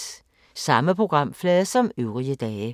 Samme programflade som øvrige dage